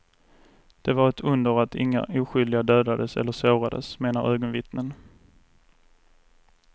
Det var ett under att inga oskyldiga dödades eller sårades, menar ögonvittnen.